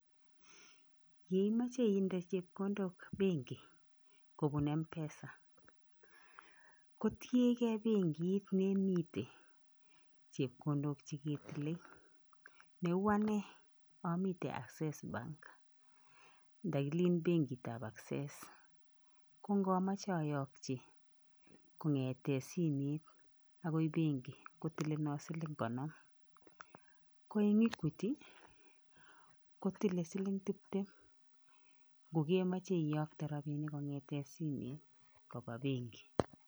Yeimoche inde chepkondok benki kobun Mpesa kotiengei benkit nemiten chepkondok cheketile. Neu ane omiten Access bank, ndokilen benkitab Access kongomoche oyokyi kong'eten simet agoi benki kotilenon siling' konom, ko en Equity kotile siling' tiptem kogemoche iyokte rabinik kong'eten simet koba benki.